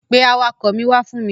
Pe awakọ̀ mi wá fún mi.